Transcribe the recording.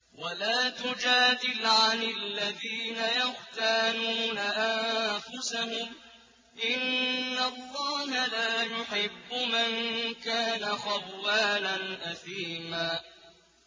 وَلَا تُجَادِلْ عَنِ الَّذِينَ يَخْتَانُونَ أَنفُسَهُمْ ۚ إِنَّ اللَّهَ لَا يُحِبُّ مَن كَانَ خَوَّانًا أَثِيمًا